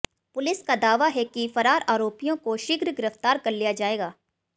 police का दावा है कि फरार आरोपियों को शीघ्र गिरफ्तार कर लिया जाएगा